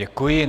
Děkuji.